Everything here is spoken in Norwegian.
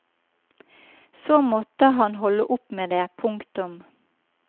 Så måtte han holde opp med det. punktum